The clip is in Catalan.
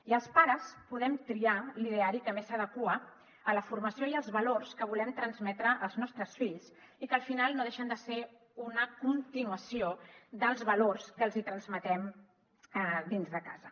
i els pares podem triar l’ideari que més s’adequa a la formació i als valors que volem transmetre als nostres fills i que al final no dei·xen de ser una continuació dels valors que els hi transmetem dins de casa